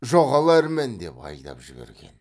жоғал әрмен деп айдап жіберген